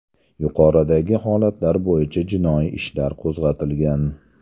Yuqoridagi holatlar bo‘yicha jinoiy ishlar qo‘zg‘atilgan.